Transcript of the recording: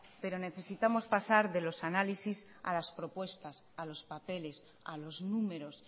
pero necesitamos pasar de los análisis a las propuestas a los papeles a los números